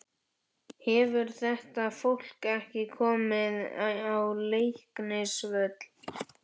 Hefur þetta fólk ekki komið á Leiknisvöll?